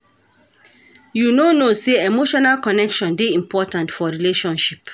You no know sey emotional connection dey important for relationship.